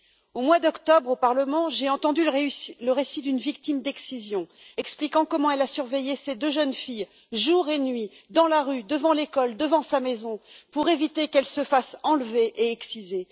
Au mois d'octobre, au Parlement, j'ai entendu le récit d'une victime d'excision expliquant comment elle a surveillé ses deux jeunes filles jour et nuit, dans la rue, devant l'école, devant sa maison pour éviter qu'elles ne se fassent enlever et exciser.